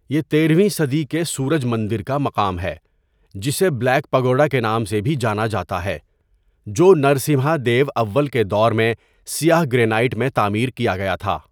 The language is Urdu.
یہ تیرہویں صدی کے سورج مندر کا مقام ہے، جسے بلیک پگوڈا کے نام سے بھی جانا جاتا ہے، جو نرسمہادیو اول کے دور میں سیاہ گرینائٹ میں تعمیر کیا گیا تھا۔